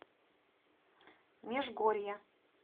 межгорья